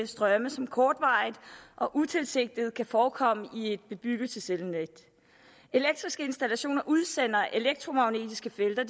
strømme som kortvarigt og utilsigtet kan forekomme i et bebyggelseselnet elektriske installationer udsender elektromagnetiske felter